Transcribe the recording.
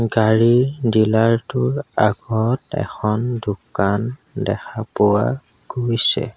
গাড়ী ডিলাৰ টোৰ আগত এখন দোকান দেখা পোৱা গৈছে।